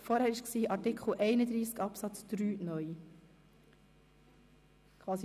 Vorhin haben wir über Artikel 31 Absatz 3 (neu) abgestimmt.